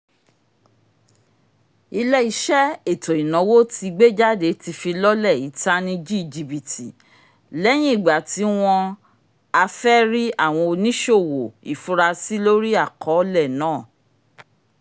ilé-iṣẹ́ ètó-ìnáwó tí gbéjáde ti fi lọlẹ ìtánìjí jibiti lẹyìn ìgbàtí wọn afẹri awọn ìṣòwò ifurasí lori akọọlẹ náà